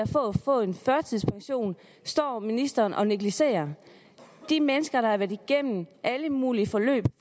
for at få en førtidspension står ministeren og negligerer de mennesker der har været igennem alle mulige forløb